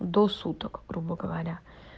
до суток грубо говоря